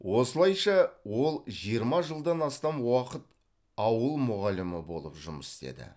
осылайша ол жиырма жылдан астам уақыт ауыл мұғалімі болып жұмыс істеді